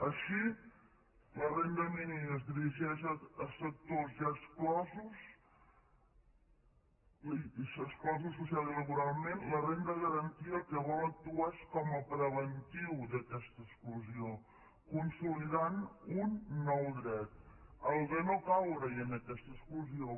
així la renda mínima es dirigeix a sectors ja exclosos exclosos socialment i laboralment la renda garantida el que vol és actuar com a preventiu d’aquesta exclusió consolidant un nou dret el de no caure hi en aquesta exclusió